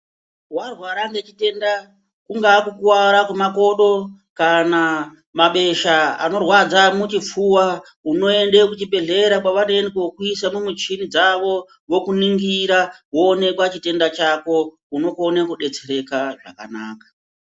Warwara ngechitenda, kungaa kukuwara mwemakodo, kana mabesha anorwadza muchipfuva, unoende kuchibhedhlera kwavanoende kokuisa mumichini dzavo, vokuningira woonekwa chitenda chako, unokone kudetsereka zvakanaka.